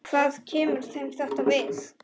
Hvað kemur þeim þetta við?